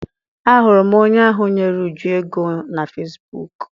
A hụrụ m onye ahụ nyere Uju ego na fesibuuku.